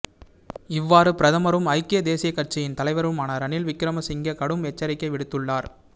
இவ்வாறு பிரதமரும் ஐக்கிய தேசியக் கட்சியின் தலைவருமான ரணில் விக்கிரமசிங்க கடும் எச்சரிக்கை விடுத்துள்ளார்